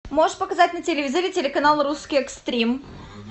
можешь показать на телевизоре телеканал русский экстрим